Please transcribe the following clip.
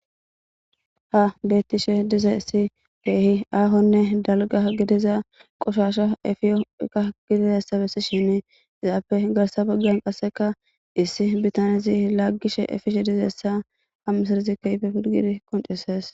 Ha bettishe dizassi beehi aahonne dalga gidiza qoshasha efiyoka gidizassa bessishinne izaape garsa baggan qasseka issi bitaniyazi laaggishe efishe dizeyssa hammisarizikkaife pirgidi qoncisees.